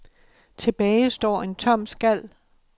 Tilbage står en tom skal.